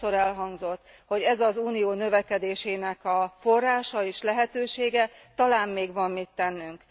Sokszor elhangzott, hogy ez az Unió növekedésének a forrása és lehetősége, talán még van mit tennünk.